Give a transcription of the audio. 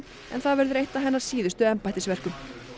en það verður eitt af hennar síðustu embættisverkum